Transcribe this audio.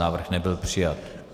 Návrh nebyl přijat.